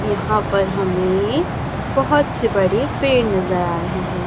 यहाँ पर हमें बहुत से बड़े पेड़ नज़र आ रहे है।